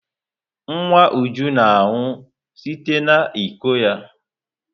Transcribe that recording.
Nwa Uju na-aṅụ site n'iko ya.